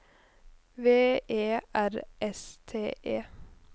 V E R S T E